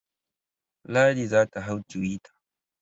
Ladi za ta hau twitter.